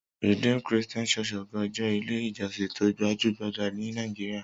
Redeemed Christian Church of God jẹ́ Ilé-ìjọsìn tó gbajú-gbajà ní Nàìjíríà.